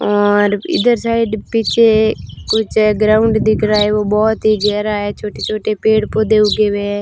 और इधर साइड पीछे कुछ ग्राउंड दिख रहा है वो बहोत ही गहरा है छोटे छोटे पेड़ पौधे उगे हुए है।